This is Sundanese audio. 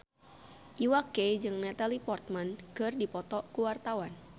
Iwa K jeung Natalie Portman keur dipoto ku wartawan